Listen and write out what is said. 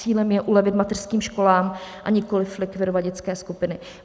Cílem je ulevit mateřským školám, a nikoli likvidovat dětské skupiny.